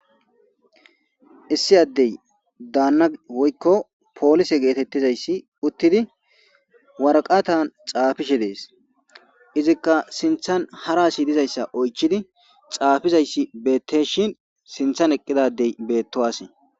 issi addey daanna woykko poolise geetettizayssi uttidi warqatan xaafishe dees izikka sinthan haraasi dizayssa oychidi xaafizayssi beetteshin sinthan eqqidadey beettowasee